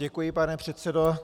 Děkuji, pane předsedo.